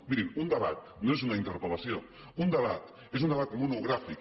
mirin un debat no és una interpel·lació un debat és un debat monogràfic